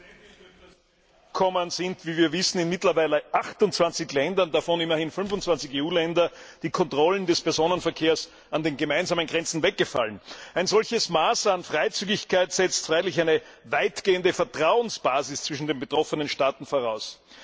Frau Präsidentin! Bekanntlich sind in mittlerweile 28 Ländern, davon immerhin 25 EU Länder, die Kontrollen des Personenverkehrs an den gemeinsamen Grenzen weggefallen. Ein solches Maß an Freizügigkeit setzt freilich eine weitgehende Vertrauensbasis zwischen den betroffenen Staaten voraus.